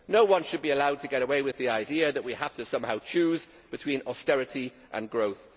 No one should be allowed to get away with the idea that we have to somehow choose between austerity and growth.